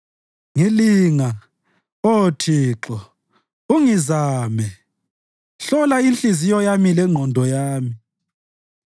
Ngilinga, Oh Thixo, ungizame, hlola inhliziyo yami lengqondo yami;